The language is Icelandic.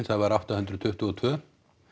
það var átta hundruð tuttugu og tvö